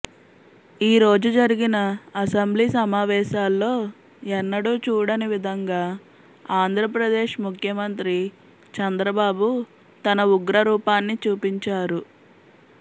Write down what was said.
ఈ రోజు జరిగిన అసెంబ్లీ సమావేశాల్లో ఎన్నడూ చూడని విధంగా ఆంధ్రప్రదేశ్ ముఖ్యమంత్రి చంద్రబాబు తన ఉగ్ర రూపాన్ని చూపించారు